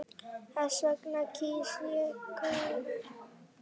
Þess vegna kýs ég Guðna.